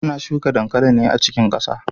Ana shuka dankali ne a cikin kasa.